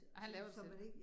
Ej, han laver det selv